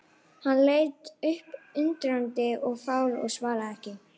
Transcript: Hann leit upp undrandi og fár og svaraði ekki.